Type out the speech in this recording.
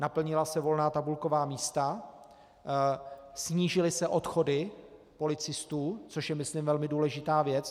Naplnila se volná tabulková místa, snížily se odchody policistů, což je, myslím, velmi důležitá věc.